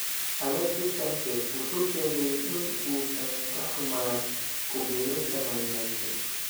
Alexis Sanchez wuxuu sheegay in uusan ka xumaan ku biirista Man Utd.